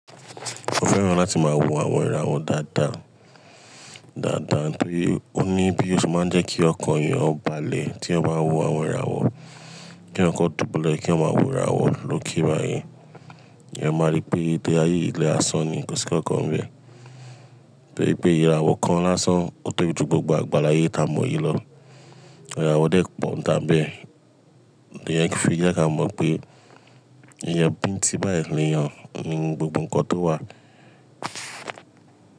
Mo fẹ́ràn láti máa wo àwọn ìràwọ̀ dáadáa, dáadáa nítorí ó ní bí ó ṣe máa ń jẹ́ kí ọkàn èèyàn ó balẹ̀ tí ẹyan bá ń wo àwọn ìràwọ̀, kí èyàn kó dùbúlẹ̀ kí èyàn máa wo ìràwọ̀ lókè báyìí. Èèyàn máa rí pé tórí áyé yì, ilé asán ni kó sí nkankan ń bẹ́ẹ̀ Tó rí pé ìràwọ̀ kan lásán, ó pay jù gbogbo àgbáláyé ta mọ yìí lọ. Ìràwọ̀ dẹ́ pó un nìtan bẹ́ẹ̀. Ìyẹn fi jẹ́ kí a mọ̀ pé Ìyàn bín tí báyìí lè yàn ni gbogbo ǹkan tó wà.